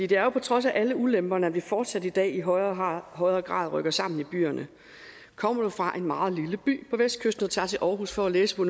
det er jo på trods af alle ulemperne at vi fortsat i dag i højere højere grad rykker sammen i byerne kommer du fra en meget lille by på vestkysten og tager til aarhus for at læse på